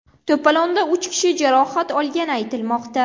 To‘polonda uch kishi jarohat olgani aytilmoqda.